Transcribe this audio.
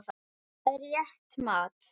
Það er rétt mat.